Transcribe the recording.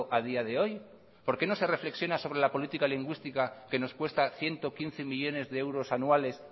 a día de hoy por qué no se reflexiona sobre la política lingüística que nos cuesta ciento quince millónes de euros anuales